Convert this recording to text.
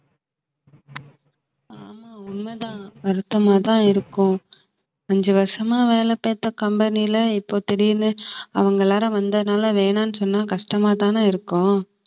ஆமா உண்மைதான் வருத்தமாதான் இருக்கும் அஞ்சு வருஷமா வேலை பார்த்த company ல இப்ப திடீர்னு அவங்கள் அவங்க எல்லாரும் வந்ததுனால வேணான்னு சொன்னா கஷ்டமாதானே இருக்கும்